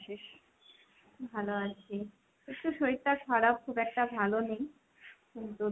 ভালো আছি। একটু শরীরটা খারাপ খুব একটা ভালো নেই। কিন্তু,